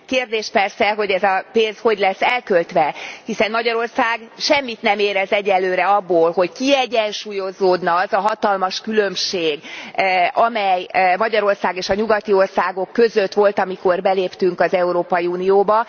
Kérdés persze, hogy ez a pénz hogy lesz elköltve, hiszen Magyarország semmit nem érez egyenlőre abból, hogy kiegyensúlyozódna az a hatalmas különbség, amely Magyarország és a nyugati országok között volt, amikor beléptünk az Európai Unióba.